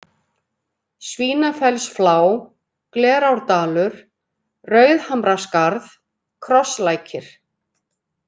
Svínafellsflá, Glerárdalur, Rauðhamraskarð, Krosslækir